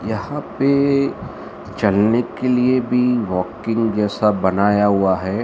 यहां पे चलने के लिए भी वॉकिंग जैसा बनाया हुआ है।